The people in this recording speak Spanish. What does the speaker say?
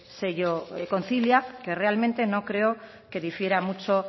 sello concilia que realmente no creo que difiera mucho